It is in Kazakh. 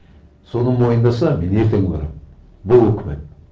соны мойындаса мен ертең барамын бұл үкімет